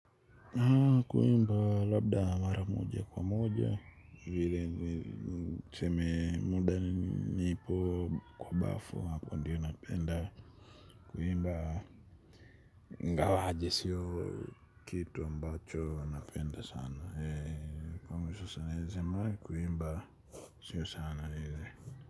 Kuimba labda mara moja kwa moja. Vile tuseme muda nipo kwa bafu hapo ndiyo napenda. Kuimba ingawaje sio kitu ambacho napenda sana kwa mwisho sana siwezi sema kuimba sio sana vile.